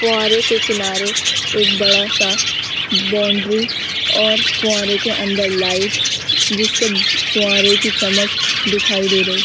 फुआरे के किनारे एक बड़ा सा बाउंड्री और फुआरे के अंदर लाइट जिससे फुआरे की चमक दिखाई दे रही।